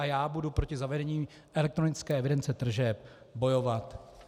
A já budu proti zavedení elektronické evidence tržeb bojovat.